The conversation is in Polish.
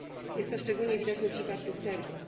Jest to szczególnie widoczne w przypadku Serbii.